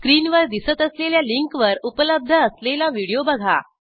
स्क्रीनवर दिसत असलेल्या लिंकवर उपलब्ध असलेला व्हिडिओ बघा